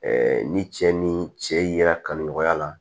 ni cɛ ni cɛ yera kanu nɔgɔya la